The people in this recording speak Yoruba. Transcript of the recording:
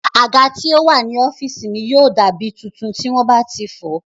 Àga tí ó wà ní ọ́físì mi yóò dá mí tuntun tí wọ́n bá ti fọ̀ọ́